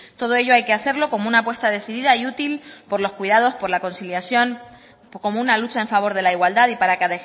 todo ello hay que hacerlo como una apuesta decidida y útil por los cuidados por la conciliación como una lucha en favor de la igualdad y para que